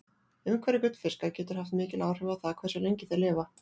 Umhverfi gullfiska getur haft mikil áhrif á það hversu lengi þeir lifa.